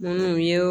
Minnu ye